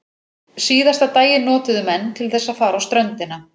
Síðasta daginn notuðu menn til þess að fara á ströndina.